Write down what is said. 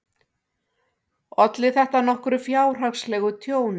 Olli þetta nokkru fjárhagslegu tjóni.